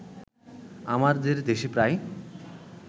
আমাদের দেশে প্রায়